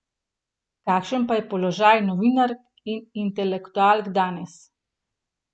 Kakšen pa je položaj novinark in intelektualk danes?